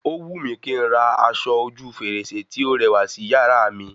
Ó wù mí kín n ra aṣọ ojú fèrèsé tí o rẹwà sí yàrá mi